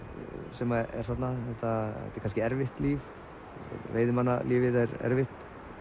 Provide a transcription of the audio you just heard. sem er þarna þetta er kannski erfitt líf veiðimannalífið er erfitt